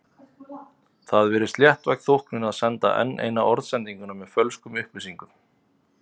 Það virðist léttvæg þóknun að senda enn eina orðsendinguna með fölskum upplýsingum.